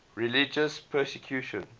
religious persecution